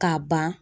K'a ban